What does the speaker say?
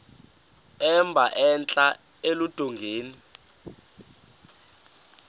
emba entla eludongeni